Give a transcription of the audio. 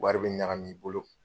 Wari bɛ ɲagamin'i bolo.